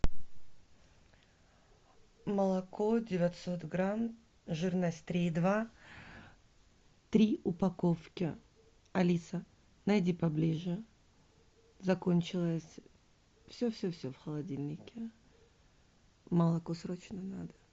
молоко девятьсот грамм жирность три и два три упаковки алиса найди поближе закончилось все все все в холодильнике молоко срочно надо